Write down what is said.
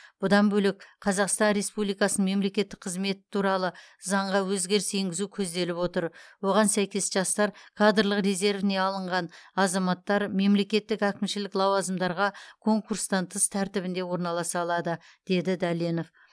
бұдан бөлек қазақстан республикасының мемлекеттік қызметі туралы заңға өзгеріс енгізу көзделіп отыр оған сәйкес жастар кадрлық резервіне алынған азаматтар мемлекеттік әкімшілік лауазымдарға конкурстан тыс тәртібінде орналаса алады деді дәленов